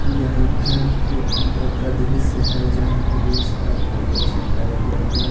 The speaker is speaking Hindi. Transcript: यह एक घर के अंदर का दृश्य है यहा पे बहुत सारा फोटो चिपकाया गया है।